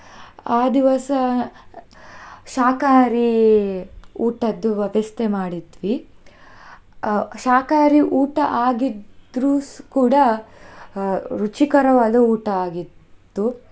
ಆ ದಿವಸ ಶಾಖಹಾರಿ ಊಟದ್ದು ವ್ಯವಸ್ಥೆ ಮಾಡಿದ್ವಿ, ಅಹ್ ಶಾಖಹಾರಿ ಊಟ ಆಗಿದ್ರು ಕೂಡ ರುಚಿಕರವಾದ ಊಟ ಆಗಿತ್ತು.